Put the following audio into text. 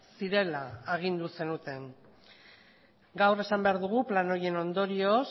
zirela agindu zenuten gaur esan behar dugu plan horien ondorioz